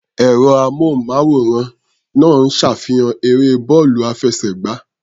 Ẹ̀rọ-amóhùnmáwòrán náà ń ṣàfihàn eré bọ́ọ̀lù àfẹsẹ̀gbá.